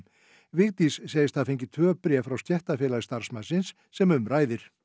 Vigdís segist hafa fengið tvö bréf frá stéttarfélagi starfsmannsins sem um ræðir